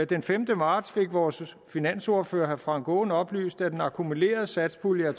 den femte marts fik vores finansordfører herre frank aaen oplyst at den akkumulerede satspulje er